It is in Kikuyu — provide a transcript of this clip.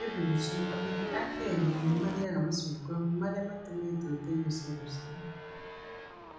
Nĩ ũndũ ũcio, andũ aingĩ a Kenya nĩ maarĩaga macungwa marĩa matumĩtwo ta irio cia rũcinĩ.